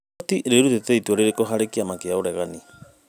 Igoti rĩrutĩte itua rĩrĩkũ harĩ kĩama kĩa ũregani?